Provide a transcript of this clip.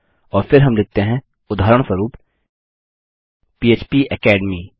और फिर हम लिखते हैं उदाहरणस्वरूप पह्प एकेडमी